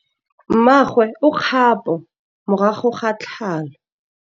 Mmagwe o kgapô morago ga tlhalô.